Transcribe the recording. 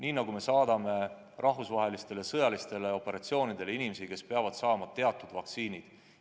Me ju saadame rahvusvahelistele sõjalistele operatsioonidele inimesi, kes peavad enne saama teatud vaktsiinid.